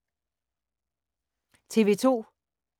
TV 2